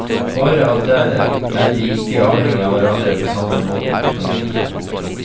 Bare at der er de ikke avhengig av hverandre på samme måten. punktum